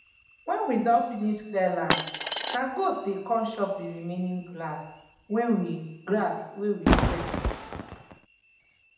when we don finsh clear land na goat dey come chop the remaining grass wey we grass wey we clear